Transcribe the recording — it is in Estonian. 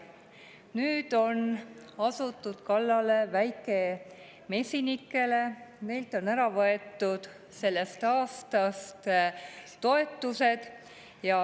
Nüüd on asutud kallale väikemesinikele, neilt on ära võetud sellest aastast toetused.